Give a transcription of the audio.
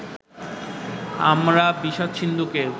আমরা বিষাদ-সিন্ধুকে